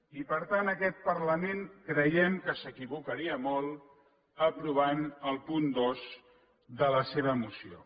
i per tant aquest parlament creiem que s’equivocaria molt aprovant el punt dos de la seva moció